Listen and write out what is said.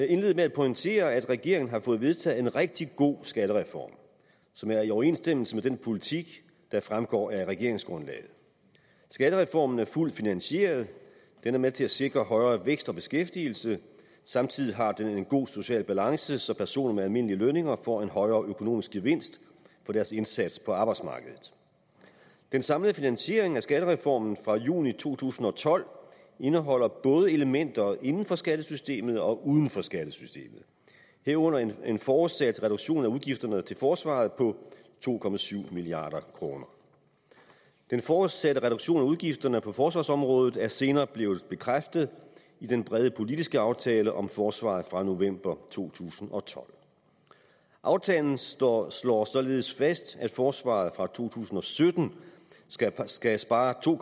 indlede med at pointere at regeringen har fået vedtaget en rigtig god skattereform som er i overensstemmelse med den politik der fremgår af regeringsgrundlaget skattereformen er fuldt finansieret den er med til at sikre højere vækst og beskæftigelse og samtidig har den en god social balance så personer med almindelige lønninger får en højere økonomisk gevinst for deres indsats på arbejdsmarkedet den samlede finansiering af skattereformen fra juni to tusind og tolv indeholder både elementer inden for skattesystemet og uden for skattesystemet herunder en fortsat reduktion af udgifterne til forsvaret på to milliard kroner den fortsatte reduktion af udgifterne på forsvarsområdet er senere blevet bekræftet i den brede politiske aftale om forsvaret fra november to tusind og tolv aftalen slår slår således fast at forsvaret fra to tusind og sytten skal skal spare to